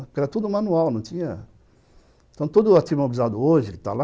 Porque era tudo manual, não tinha... Então, todo o hoje que está lá,